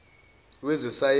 wezesayensi